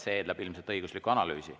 See eeldab ilmselt õiguslikku analüüsi.